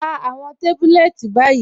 Rá àwọn tábùlẹ̀tì báyì.